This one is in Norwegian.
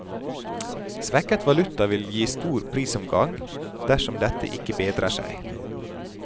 Svekket valuta vil gi stor prisoppgang, dersom dette ikke bedrer seg.